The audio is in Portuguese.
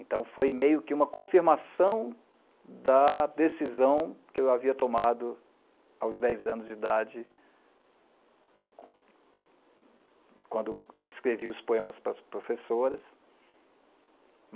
Então foi meio que uma confirmação da decisão que eu havia tomado aos dez anos de idade, quando escrevi os poemas para as professoras.